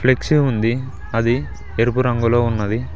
Flexi ఉంది అది ఎరుపు రంగులో ఉన్నది.